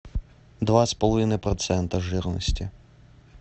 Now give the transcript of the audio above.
два с половиной процента жирности